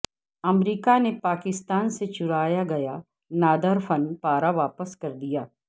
امریکہ نے پاکستان سے چرایا گیا نادر فن پارہ واپس کر دیا